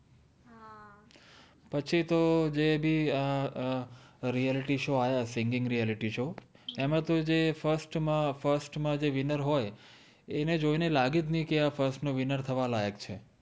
પછી તો જે ભી અમ અમ realityshow આયા singingrealiityshow એમા તો જે ફ઼અર્સ્ત મા ફ઼અર્સ્ત મા જે winner હોએ એને જોઇ ને લાગ્ય઼ઉ જ નૈ કે આ ફ઼અર્સ્ત નો winner થવા લાય઼ક છે